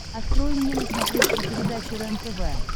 открой мне на смотрешке передачу рентв